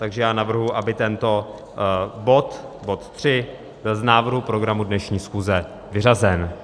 Takže já navrhuji, aby tento bod, bod 3, byl z návrhu programu dnešní schůze vyřazen.